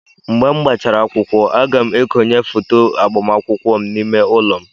Mgbe gbachara akwụkwọ, a ga m ekonye foto agbamakwụkwọ m n'ime ụlọ m.